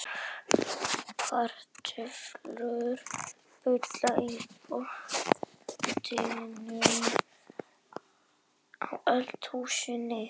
Kartöflur bulla í pottinum á eldavélinni.